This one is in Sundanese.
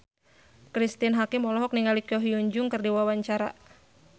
Cristine Hakim olohok ningali Ko Hyun Jung keur diwawancara